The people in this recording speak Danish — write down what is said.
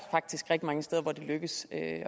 faktisk rigtig mange steder hvor det lykkes